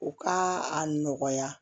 U ka a nɔgɔya